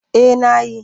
Eh na yi.